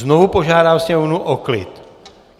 Znovu požádám sněmovnu o klid.